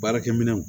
Baarakɛ minɛnw